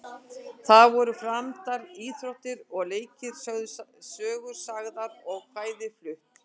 Þar voru framdar íþróttir og leikir, sögur sagðar og kvæði flutt.